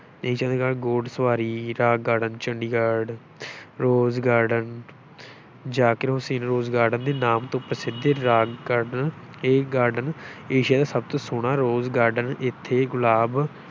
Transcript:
ਘੋੜ ਸਵਾਰੀ, rock garden Chandigarh rose garden Zakir Hussain rose garden ਦੇ ਨਾਮ ਤੋਂ ਪ੍ਰਸਿੱਧ ਇਹ ਰਾਕ garden ਇਹ garden ਏਸ਼ੀਆ ਦਾ ਸਭ ਤੋਂ ਸੋਹਣਾ rose garden ਇੱਥੇ ਗੁਲਾਬ